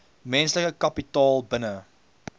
menslike kapitaal binne